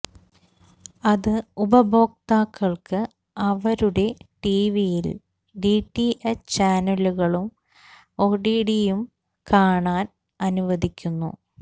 അത് ഉപയോക്താക്കൾക്ക് അവരുടെ ടിവിയിൽ ഡി ടി എച്ച് ചാനലുകളും ഒടിടിയും കാണാൻ അനുവദിക്കുന്നു